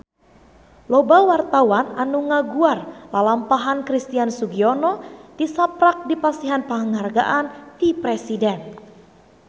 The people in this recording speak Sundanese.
Loba wartawan anu ngaguar lalampahan Christian Sugiono tisaprak dipasihan panghargaan ti Presiden